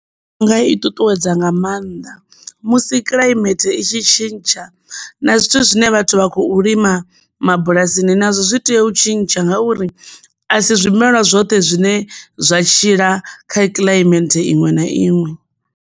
Ndi nga i ṱuṱuwedza nga maanḓa musi kulimele i tshi tshintsha na zwithu zwine vhathu vha khou lima mabulasini nazwo zwi tea u tshintsha ngauri a si zwimela zwoṱhe zwine zwa tshila kha kilaimenthe iṅwe na iṅwe.